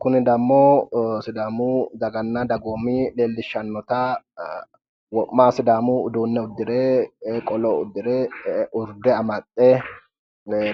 kuni dammo sidaamu daganna dagoomi leellishshannota wo'ma sidaamu uduunne uddire qolo uddire urde amaxxe